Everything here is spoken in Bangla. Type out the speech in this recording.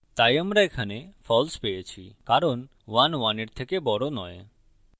তাই আমরা এখানে false পেয়েছি কারণ ১ ১ এর থেকে বড় নয়